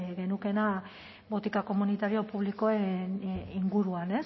genukeela botika komunitario publikoen inguruan